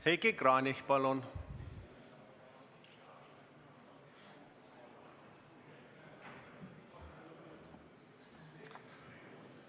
Heiki Kranich, palun!